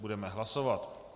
Budeme hlasovat.